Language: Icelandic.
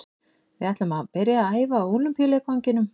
Við ætlum að byrja að æfa á Ólympíuleikvanginum.